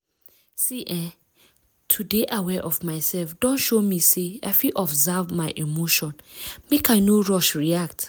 see eh to dey aware of myself don show me say i fit observe my emotion make i no rush react.